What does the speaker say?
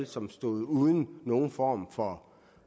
som står uden nogen form for